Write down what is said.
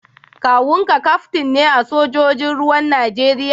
kawun ka kaftin ne a sojojin ruwan Najeriya?